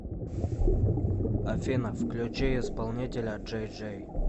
афина включи исполнителя джей джей